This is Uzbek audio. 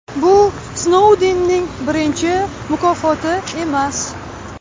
Bu Snoudenning birinchi mukofoti emas.